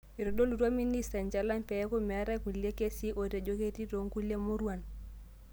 Eitodolutua ministri enchalan pee eku meetai kulie kesii otejo ketii too nkulie muruan